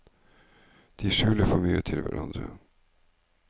De skuler for mye til hverandre.